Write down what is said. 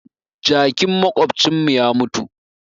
Jakin maƙwabcin mu ya mutu